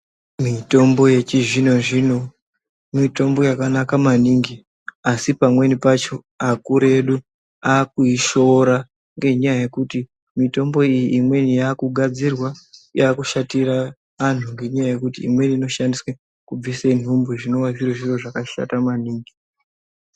Mitombo yechizvino-zvino mitombo yakanaka maningi, asi pamweni pacho akuru edu akuyishoora ,ngenyaya yekuti mitombo iyi imweni yakugadzirwa, yakushatira anhu ngenyaya yekuti imweni inoshandiswa kubvise nhumbu ,zvinova zviri zviro zvakashata maningi.